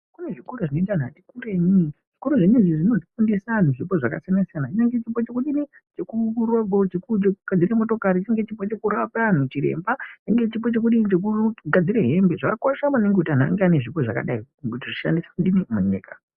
Kunezvikora zvinoenda anhu atikurenyi zvikorazvo zvinofundisa anhu zvipo zvakasiyana siyana chekugadzire motokari chekurape anhu chiremba chenge chipo chekugadzire hembe zvakakosha maningi kuti anhu ange anezvipo zvakadai kuti zvishandiswe munyika.